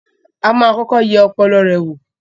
A máa kọ́kọ́ yẹ ọpọlọ rẹ wò.